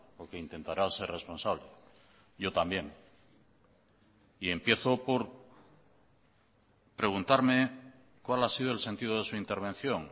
o que intentará ser responsable yo también y empiezo por preguntarme cuál ha sido el sentido de su intervención